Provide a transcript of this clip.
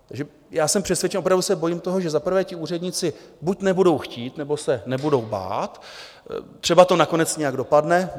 Já jsem přesvědčen, opravdu se bojím toho, že za prvé ti úředníci buď nebudou chtít nebo se nebudou bát, třeba to nakonec nějak dopadne.